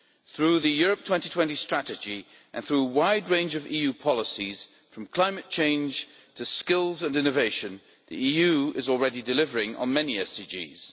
Through the Europe 2020 Strategy, and through a wide range of EU policies, from climate change to skills and innovation, the EU is already delivering on many SDGs.